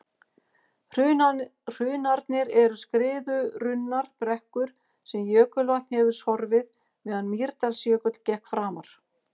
hrunarnir eru skriðurunnar brekkur sem jökulvatn hefur sorfið meðan mýrdalsjökull gekk framar